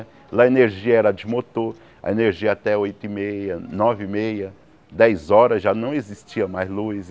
Lá a energia era de motor, a energia até oito e meia, nove e meia, dez horas, já não existia mais luz.